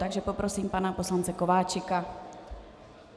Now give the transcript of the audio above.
Takže poprosím pana poslance Kováčika.